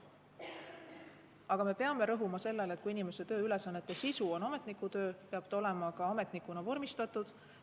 Aga me peame rõhuma sellele, et kui inimese tööülesannete sisu on ametnikutöö, siis peab ta olema ka ametnikuna tööle vormistatud.